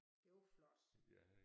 Det var flot